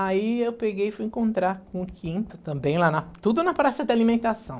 Aí eu peguei e fui encontrar com o quinto também, lá na, tudo na praça de alimentação.